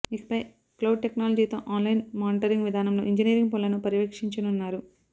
ఇకపై క్లౌడ్ టెక్నాలజీతో online monitoring విధానంలో ఇంజనీరింగ్ పనులను పర్యవేక్షించనున్నారు